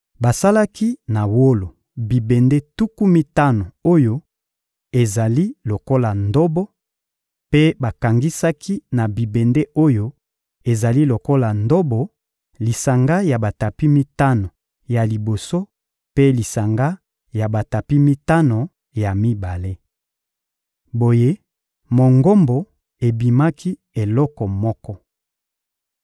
Basalaki na wolo bibende tuku mitano oyo ezali lokola ndobo; mpe bakangisaki na bibende oyo ezali lokola ndobo lisanga ya batapi mitano ya liboso mpe lisanga ya batapi mitano ya mibale. Boye, Mongombo ebimaki eloko moko.